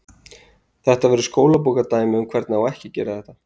Þetta verður skólabókardæmi um hvernig á ekki að gera þetta.